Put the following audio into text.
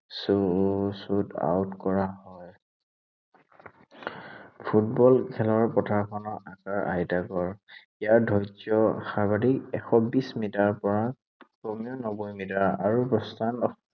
উম shoot out কৰা হয়। Football খেলৰ, পথাৰখনj আকাৰ আয়তাকাৰ। ইয়াৰ ধৈৰ্য সাৰ্বাধিক এশ বিশ মিটাৰৰ পৰা কমেও নব্বৈ মিটাৰ আৰু প্ৰস্থান